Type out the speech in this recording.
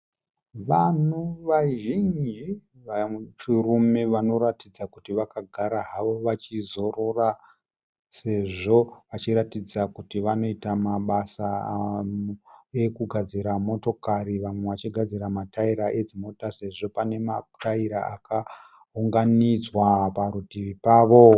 Vanhu vazhinji vechirume vanoratidza kuti vakagara havo vachizorora, sezvo vachiratidza kuti vanoita mabasa ekugadzira motokari. Vamwe vachigadzira mataira edzimota, sezvo pane mataira akaunganidzwa parutivi pavo.